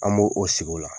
An b'o o sigi o la